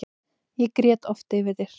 Ég grét oft yfir þér.